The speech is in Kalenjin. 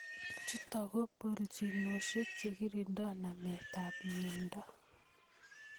chutok ko boljinoshek chekirindoi namet ab mnyendo.